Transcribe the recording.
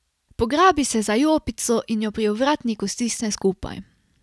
Pograbi se za jopico in jo pri ovratniku stisne skupaj.